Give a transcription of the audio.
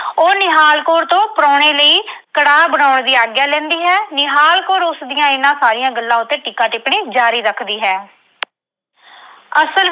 ਉਹ ਨਿਹਾਲ ਕੌਰ ਤੋਂ ਪ੍ਰਾਹੁਣੇ ਲਈ ਕੜਾਹ ਬਣਾਉਣ ਦੀ ਆਗਿਆ ਲੈਂਦੀ ਹੈ। ਨਿਹਾਲ ਕੌਰ ਉਸਦੀਆਂ ਇਨ੍ਹਾਂ ਸਾਰੀਆਂ ਗੱਲਾਂ ਉੱਤੇ ਟੀਕਾ-ਟਿੱਪਣੀ ਜਾਰੀ ਰੱਖਦੀ ਹੈ। ਅਸਲ